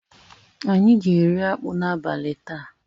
Anyị ga-eri akpu n'abalị taa.